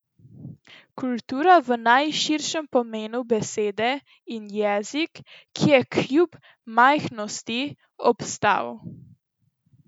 Kultura v najširšem pomenu besede in jezik, ki je, kljub majhnosti, obstal.